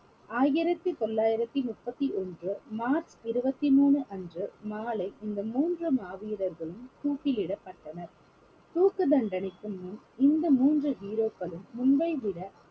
ஆயிரத்தி தொள்ளாயிரத்தி முப்பத்தி ஒன்று மார்ச் இருவத்தி மூணு அன்று மாலை இந்த மூன்று மாவீரர்களும் தூக்கிலிடப்பட்டனர் தூக்கு தண்டனைக்கு முன் இந்த மூன்று hero க்களும் முன்பைவிட